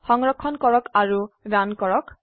সংৰক্ষণ কৰক আৰু ৰান কৰক